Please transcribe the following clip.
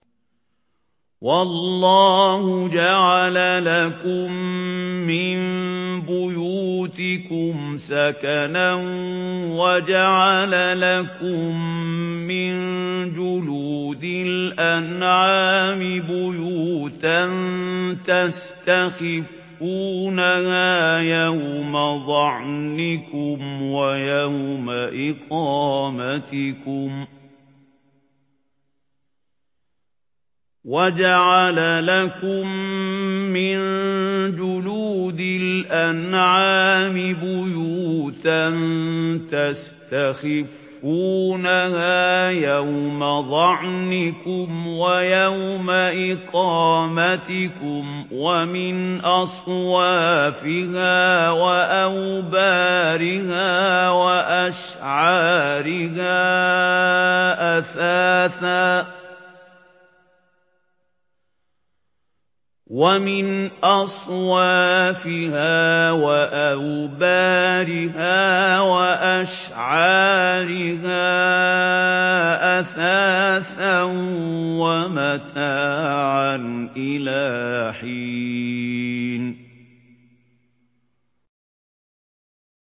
وَاللَّهُ جَعَلَ لَكُم مِّن بُيُوتِكُمْ سَكَنًا وَجَعَلَ لَكُم مِّن جُلُودِ الْأَنْعَامِ بُيُوتًا تَسْتَخِفُّونَهَا يَوْمَ ظَعْنِكُمْ وَيَوْمَ إِقَامَتِكُمْ ۙ وَمِنْ أَصْوَافِهَا وَأَوْبَارِهَا وَأَشْعَارِهَا أَثَاثًا وَمَتَاعًا إِلَىٰ حِينٍ